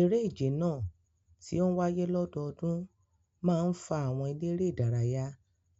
Eré ìje náà, tí ó ń wáyé lọ́dọọdún, máa ń fa àwọn eléré-ìdárayá